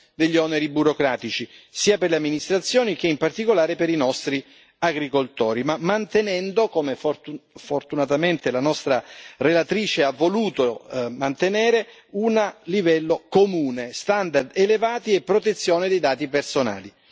degli oneri burocratici, sia per le amministrazioni che, in particolare, per i nostri agricoltori, ma mantenendo, come fortunatamente auspicato dalla nostra relatrice, un livello comune, standard elevati e protezione dei dati personali.